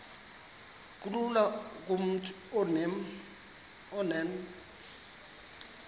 kulula kumntu onen